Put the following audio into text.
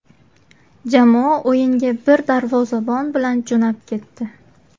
Jamoa o‘yinga bir darvozabon bilan jo‘nab ketdi.